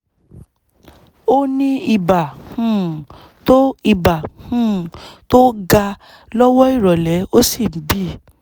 ó ní ibà um tó ibà um tó ga lọ́wọ́ ìrọ̀lẹ́ ó sì ń bì